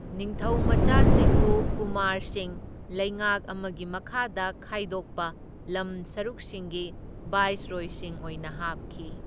ꯅꯤꯡꯊꯧꯃꯆꯥꯁꯤꯡꯕꯨ ꯀꯨꯃꯥꯔꯁꯤꯡ ꯂꯩꯉꯥꯛ ꯑꯃꯒꯤ ꯃꯈꯥꯗ ꯈꯥꯏꯗꯣꯛꯄ ꯂꯝ ꯁꯔꯨꯛꯁꯤꯡꯒꯤ ꯚꯥꯏꯁ꯭ꯔꯣꯏꯁꯤꯡ ꯑꯣꯏꯅ ꯍꯥꯞꯈꯤ꯫